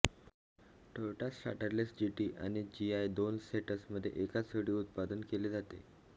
Toyota Starlet GT आणि जीआयच्या दोन सेट्समध्ये एकाच वेळी उत्पादन केले जाते